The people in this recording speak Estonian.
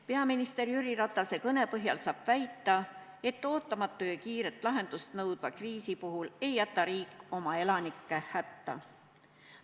Peaminister Jüri Ratase kõne põhjal saab väita, et ootamatu ja kiiret lahendust nõudva kriisi puhul ei jäta riik oma elanikke hätta.